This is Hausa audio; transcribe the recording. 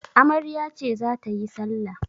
Amarya ce za ta yi salla.